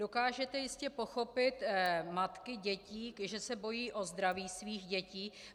Dokážete jistě pochopit matky dětí, že se bojí o zdraví svých dětí.